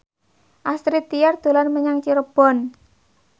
Astrid Tiar dolan menyang Cirebon